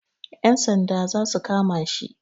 Yan sanda za su kama shi.